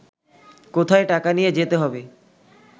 কোথায় টাকা নিয়ে যেতে হবে